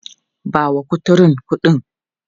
Ba wa kuturun kuɗin!.